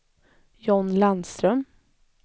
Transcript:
John Landström